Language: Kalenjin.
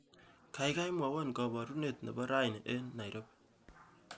Kaikai mwowo kabarune nebo raini eng Nairobi